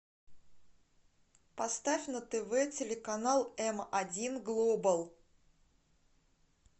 поставь на тв телеканал м один глобал